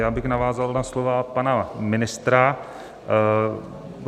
Já bych navázal na slova pana ministra.